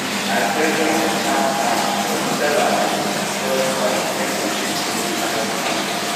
i beg um calm calm but the seller um just point give the people wey carry better money